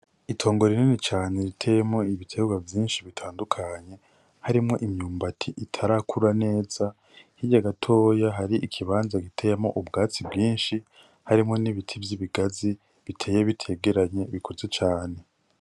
Itongo rinini cane riteyemwo ibiterwa vyinshi bitandukanye, harimwo imyumati itarakura neza. Hirya gatoya hari ikibanza giteyemwo ubwatsi bwinshi, harimwo n'ibiti vy'ibigazi biteye bitegeranye bikuze cane.